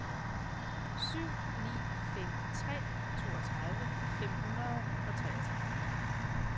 syv ni fem tre toogtredive fem hundrede og treogtredive